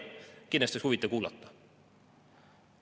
Kindlasti oleks seda huvitav kuulata.